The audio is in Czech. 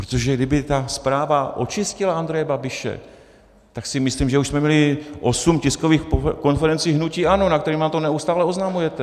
Protože kdyby ta zpráva očistila Andreje Babiše, tak si myslím, že už jsme měli osm tiskových konferencí hnutí ANO, na kterých nám to neustále oznamujete.